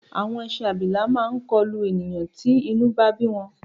Àwọn ẹṣin abilà máa kọlù ènìyàn tí inú bá bí wọn.